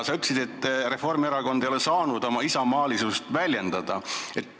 Sa ütlesid, et Reformierakond ei ole saanud oma isamaalisust väljendada.